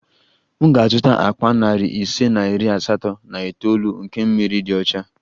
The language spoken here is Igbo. M ga-azụta akpa nari ise na iri asatọ na itoolu nke mmiri dị ọcha